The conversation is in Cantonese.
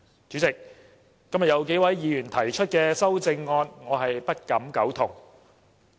主席，今天有數位議員提出的修正案，我不敢苟同。